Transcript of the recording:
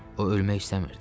O ölmək istəmirdi.